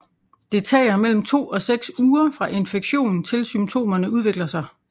Det tager mellem to og seks uger fra infektion til symptomerne udvikler sig